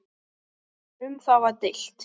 Um það var deilt.